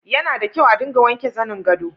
Yana da kyau a dinga wanke zanin gado.